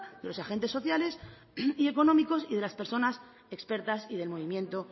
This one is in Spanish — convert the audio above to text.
de los agente sociales y económicos y de las personas expertas y del movimiento